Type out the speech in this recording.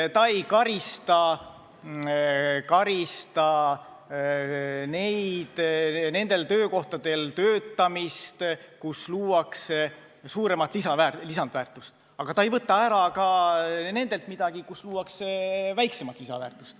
Ta ei karista nendel töökohtadel töötamist, kus luuakse suuremat lisandväärtust, aga ta ei võta ära ka sealt midagi, kus luuakse väiksemat lisandväärtust.